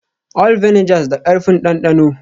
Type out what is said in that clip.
All vinegars da karfi m dandano